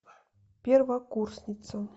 первокурсница